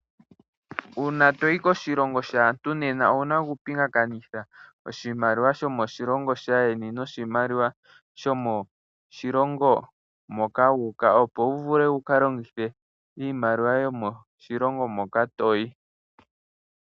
Uuna toyi koshilongo shaantu nena owuna oku pingakanitha oshimaliwa shomoshilongo shaayeni noshimaliwa shomo shilongo moma wu uka opo wuvule wuka longithe iimaliwa yo moshilongo moka toyi.